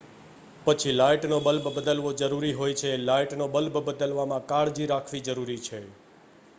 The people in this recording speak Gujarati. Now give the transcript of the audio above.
પછી લાઇટનો બલ્બ બદલવો જરૂરી હોય છે લાઇટનો બલ્બ બદલવામાં કાળજી રાખવી જરૂરી છે